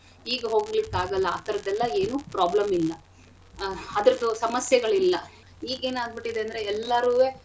ಈಗ ಹೋಗ್ಲಿಕ್ಕಾಗಲ್ಲ ಆಥರದೆಲ್ಲ ಏನೂ problem ಇಲ್ಲ ಆಹ್ ಅದ್ರದು ಸಮಸ್ಯೆಗಳಿಲ್ಲ ಈಗೇನಾಗ್ಬಿಟಿದೆ ಅಂದ್ರೆ ಎಲ್ಲಾರುವೆ.